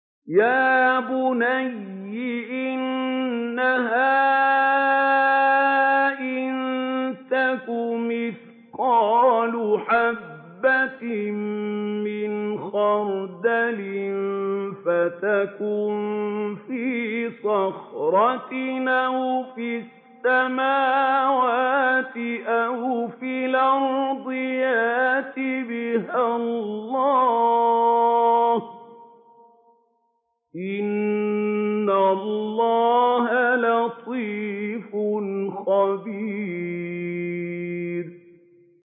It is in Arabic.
يَا بُنَيَّ إِنَّهَا إِن تَكُ مِثْقَالَ حَبَّةٍ مِّنْ خَرْدَلٍ فَتَكُن فِي صَخْرَةٍ أَوْ فِي السَّمَاوَاتِ أَوْ فِي الْأَرْضِ يَأْتِ بِهَا اللَّهُ ۚ إِنَّ اللَّهَ لَطِيفٌ خَبِيرٌ